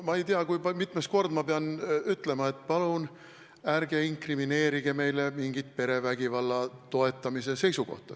Ma ei tea, kui mitmes kord ma pean ütlema, et palun ärge inkrimineerige meile mingit perevägivalda toetavat seisukohta.